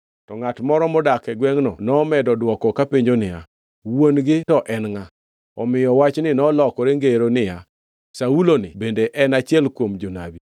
To ngʼat moro modak e gwengʼno nomedo dwoko kopenjo niya, “Wuon-gi to en ngʼa?” Omiyo wachni nolokore ngero niya, “Saulo-ni bende en achiel kuom jonabi?”